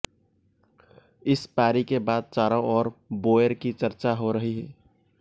इस पारी के बाद चारों ओर बोएर की चर्चा हो रही है